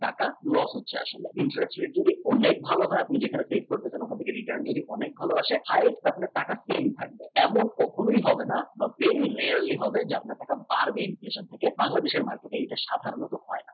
টাকা loss হচ্ছে আসলে in fact সেগুলো অনেক ভাল হয় আপনি যেটা save করছেন তার থেকে return আসে highest আপনি টাকা spend খালি এমন কখনো হবে না very rarely হবে আপনি পারবেন inflation থেকে বাংলাদেশে মাটিতে এটা সাধারণত